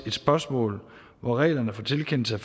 et spørgsmål hvor reglerne for tilkendelse